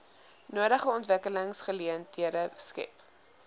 nodige ontwikkelingsgeleenthede skep